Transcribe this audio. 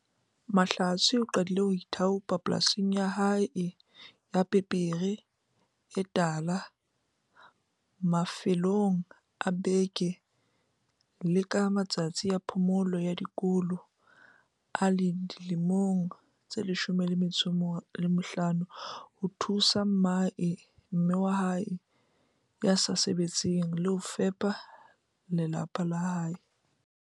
Mahlatse o qadile ho ithaopa polasing ya lehae ya pepere e tala mafelong a beke le ka matsatsi a phomolo ya dikolo a le dilemo di 15 ho thusa mme wa hae ya sa sebetseng ho fepa lapa la hae.